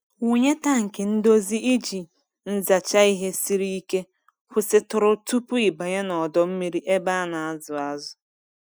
Wụnye tankị ndozi iji nzacha ihe siri ike kwụsịtụrụ tupu ị banye n'ọdọ mmiri ebe a na-azụ azụ.